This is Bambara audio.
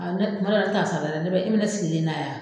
ne kuma dɔ la ne ta sara dɛ, ne bɛ e bɛ ne sigilen na yan.